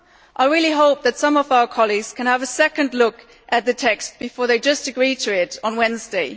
I really hope that some of our colleagues can have a second look at the text before simply agreeing to it on Wednesday.